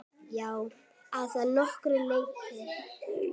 Hellið vatninu af og geymið.